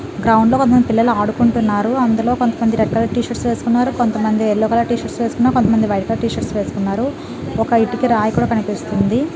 Ground లో కొంత మంది పిల్లలు అడుకుంటున్నారు. అందులో కొంత మంది red colour T shirts వేసుకున్నారు. కొంత మంది yellow colour T shirts వేసుకున్నారు. కొంత మంది white colour T shirts వేసుకున్నారు. ఒక ఇటుక రాయ్ కుడా కనిపిస్తుంది.